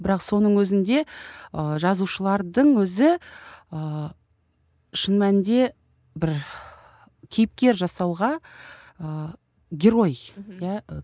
бірақ соның өзінде ы жазушылардың өзі ы шын мәнінде бір кейіпкер жасауға ы герой мхм иә